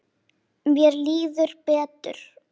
Mér líður betur.